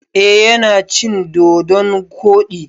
Eh yana cin dodon koɗi.